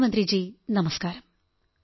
പ്രധാനമന്ത്രിജീ നമസ്കാരം